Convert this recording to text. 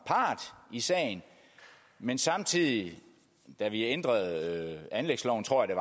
i sagen men samtidig da vi ændrede anlægsloven tror jeg